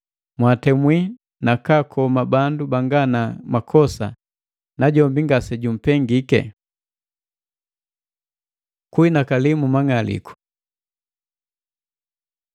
Mwaatemwi na kaakoma bandu banga na makosa, najombi ngasejumpengike! Kunhinakali mu mang'aliku